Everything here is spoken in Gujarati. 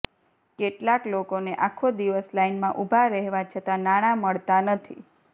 કેટલાક લોકોને આખો દિવસ લાઈનમાં ઉભા રહેવા છતાં નાણાં મળતા નથી